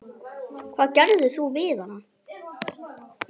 Hvað gerðir þú við hana?